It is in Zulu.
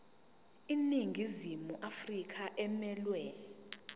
iningizimu afrika emelwe